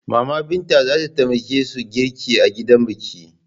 Mama Binta za ta taya su girki a gidan biki.